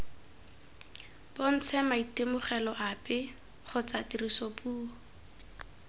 bontshe maitemogelo ape kgotsa tirisopuo